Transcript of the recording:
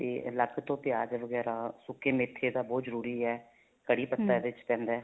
ਤੇ ਅਲੱਗ ਤੋਂ ਪਿਆਜ ਵਗੈਰਾ ਸੁੱਕੇ ਮੈਥੇ ਦਾ ਬਹੁਤ ਜਰੂਰੀ ਏ ਕੜੀ ਪੱਤਾ ਇਹਦੇ ਚ ਪੈਂਦਾ